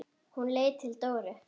Hún leit til Dóru.